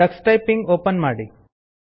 Tux typing open ಮಾಡಿ